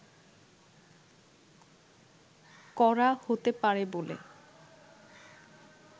করা হতে পারে বলে